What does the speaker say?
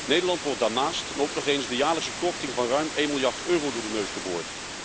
Nederland wordt daarnaast ook nog eens de jaarlijkse korting van ruim 1 miljard euro door de neus geboord.